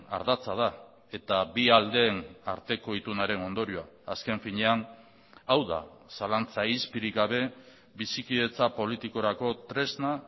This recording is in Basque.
ardatza da eta bi aldeen arteko itunaren ondorioa azken finean hau da zalantza izpirik gabe bizikidetza politikorako tresna